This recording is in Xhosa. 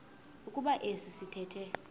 kuba esi sithethe